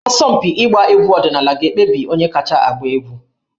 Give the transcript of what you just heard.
Asọmpi ịgba egwu ọdịnala ga-ekpebi onye kacha agba egwu